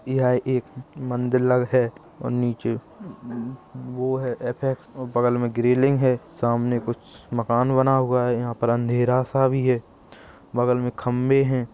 यह एक मंदिर लग है और नीचे म म वो हैं ऐफ क्स और बगल मैं ग्रिल्लिंग हैं सामने कुछ मकान बना हुआ हैं यहाँ पर अँधेरा सा भी हैं बगल मैं खम्बे भी हैं।